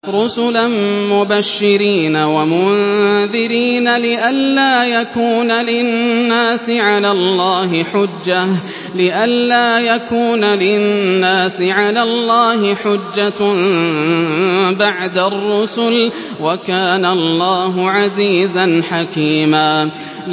رُّسُلًا مُّبَشِّرِينَ وَمُنذِرِينَ لِئَلَّا يَكُونَ لِلنَّاسِ عَلَى اللَّهِ حُجَّةٌ بَعْدَ الرُّسُلِ ۚ وَكَانَ اللَّهُ عَزِيزًا حَكِيمًا